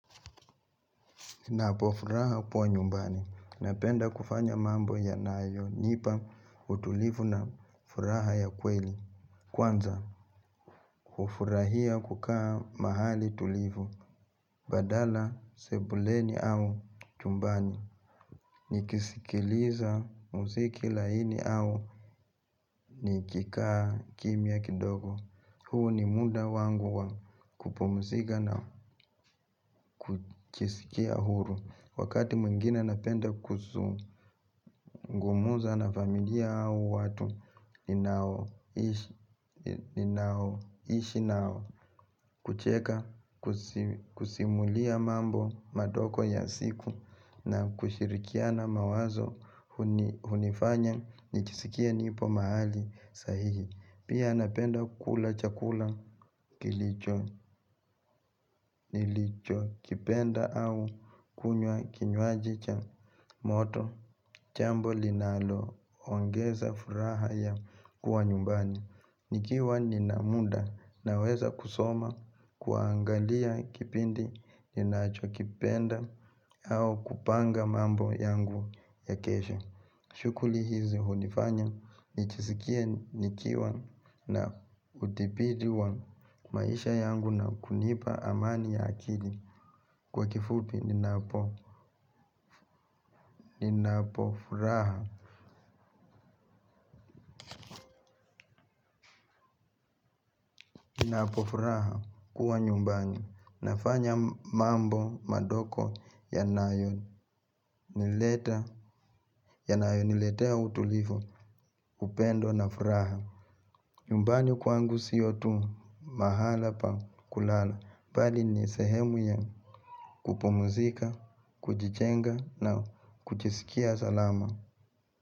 Napo furaha kuwa nyumbani napenda kufanya mambo yanayonipa utulivu na furaha ya kweli. Kwanza, kufurahia kukaa mahali tulivu. Badala sebuleni au chumbani. Nikisikiliza muziki laini au nikikaa kimia kidogo. Huu ni muda wangu wa kupumzika na kujisikia huru. Wakati mwingine napenda kuzungumza na familia au watu ninao ishi nao kucheka, kusimulia mambo madogo ya siku na kushirikiana mawazo hunifanya, njisikie nipo mahali sahihi. Pia napenda kula chakula kilicho nilicho kipenda au kunywa kinyuaji cha moto jambo linalo ongeza furaha ya kuwa nyumbani. Nikiwa nina muda na weza kusoma kuangalia kipindi ninacho kipenda au kupanga mambo yangu ya kesho shughuli hizi hunifanya nijisikie nikiwa na udhibiti wa maisha yangu na kunipa amani ya akili kwa kifupi ninapo furaha ninapo furaha kuwa nyumbani nafanya mambo madogo yanayo yanayo niletea utulivu upendo na furaha. Yumbani kwangu siyo tu mahala pa kulala. Bali ni sehemu ya kupumzika, kujijenga na kujisikia salama.